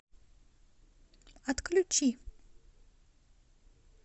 отключи